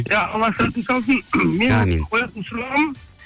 иә алла сәтін салсын әмин менің қоятын сұрағым